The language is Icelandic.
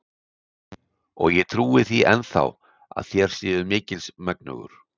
Og ég trúi því enn þá, að þér séuð mikils megnugur.